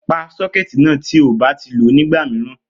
Pa sókétì náà tí ò bá ti lo ní ìgbà mìíràn